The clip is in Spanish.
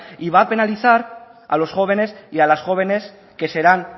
y va a penalizar a los jóvenes y a las jóvenes que serán